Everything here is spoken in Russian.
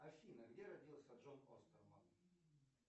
афина где родился джон остерман